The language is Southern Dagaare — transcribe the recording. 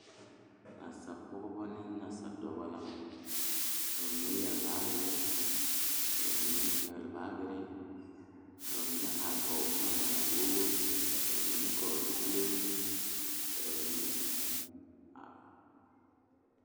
Nasaapɔgeba ne nasaadɔɔba la kaa dɔɔ kaŋa a are a su kpare pelaa kaa Yiri a die dankyini are kaa kolbaare a dɔgle tabol zu.